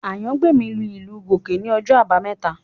Àyàngbèmí lu ìlù Gòge ní ọjọ́ àbámẹ́ta